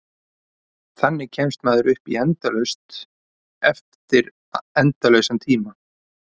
Þannig kemst maður upp í endalaust eftir endalausan tíma.